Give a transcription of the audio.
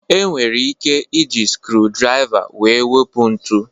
E nwere ike iji skriu draiva wee wepu ntu